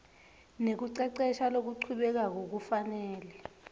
nekucecesha lokuchubekako kufanele